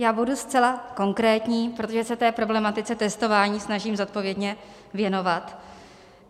Já budu zcela konkrétní, protože se té problematice testování snažím zodpovědně věnovat.